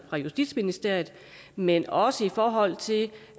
i justitsministeriet men også i forhold til